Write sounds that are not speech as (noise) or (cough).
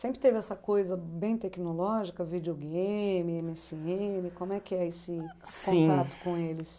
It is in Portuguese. Sempre teve essa coisa bem tecnológica, videogame, eme esse ene, como é que é esse (unintelligible) com eles?